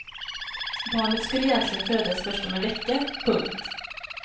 Barnet skulle egentligen födas först om en vecka. punkt